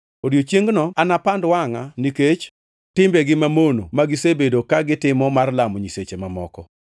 Odiechiengno anapand wangʼa nikech timbegi mamono ma gisebedo ka gitimo mar lamo nyiseche mamoko.